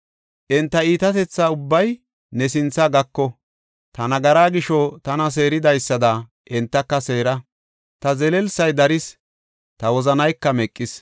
Enta iitatetha ubbay ne sinthe gako; ta nagaraa gisho tana seeridaysada entaka seera; ta zelelsay daris; ta wozanayka meqis.”